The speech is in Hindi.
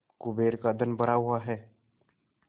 कुबेर का धन भरा हुआ है